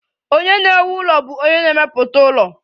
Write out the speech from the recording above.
Onye na-ewu ụlọ bụ onye na-emepụta ụlọ